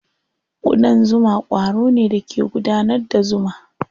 Ƙudan zuma ƙwaro ne da ke gudanar da zuma.